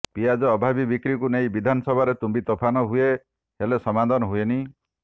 ପିଆଜ ଅଭାବୀ ବିକ୍ରିକୁ ନେଇ ବିଧାନସଭାରେ ତୁମ୍ବିତୋଫାନ ହୁଏ ହେଲେ ସମାଧାନ ହୁଏନି